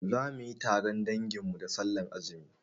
Zamuyi taron dangin mu da sallar azumi